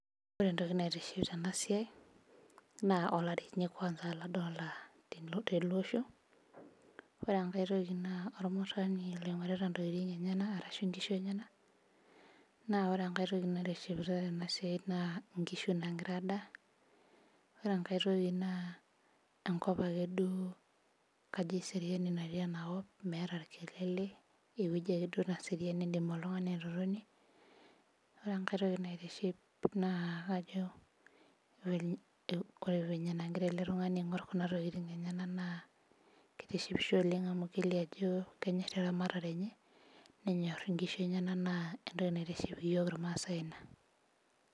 Ore entoki naitiship tenasia na olari ladolita tenewueji ore enkae na ormurani oingorita ntokitin enyenak ore enkae toki na nkishu nagira adaa ore enkae toki na eseriani natii enakop meeta orkelele ore enkae toki naitiship na ore enagira eletungani aingur kuna kishu na kitishipisho amu kenyor eramatare enye na entoki naitiship yiol irmaasai ina.